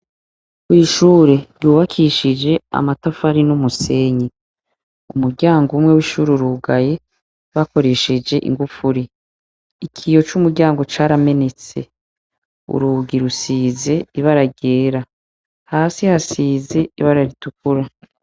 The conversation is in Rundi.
Ishure ry'ubakishijwe amatafari numusenyi , umuryango wishure urugaye bakoresheje ingufuri ,ikiyo cumuryango caramenetse urugi rusize ibara ryera ,hasi hasize ibara ritukura.